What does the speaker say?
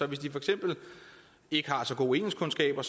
hvis de for eksempel ikke har så gode engelskkundskaber